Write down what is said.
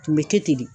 Tun bɛ kɛ ten de